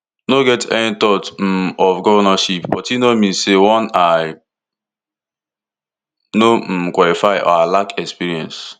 no get any thought um of govnorship but e no mean say one i no um qualify or i lack experience